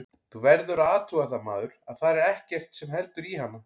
Þú verður að athuga það maður, að þar er ekkert sem heldur í hana.